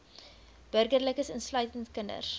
burgerlikes insluitend kinders